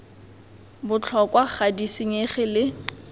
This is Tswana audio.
botlhokwa ga di senyege le